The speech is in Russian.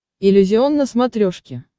иллюзион на смотрешке